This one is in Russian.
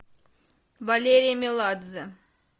валерий меладзе